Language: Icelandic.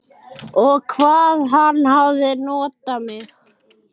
Og hvað hann hafði notað mig.